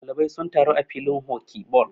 ɗalibai sun taru a filin hoki ball